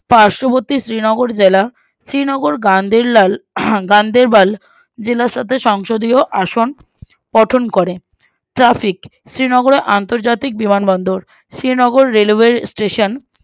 পার্শবর্তী শ্রীনগর জেলা শ্রীনগর গান্দেরলাল আহ গান্দেরবাল জেলার সাথে সংসদীয় আসন গঠন করে Traffic শ্রীনগরে আন্তর্জাতিক বিমান বন্দর শ্রীনগর railway station